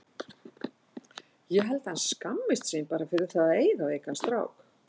Ég held að hann skammist sín bara fyrir það að eiga veikan strák.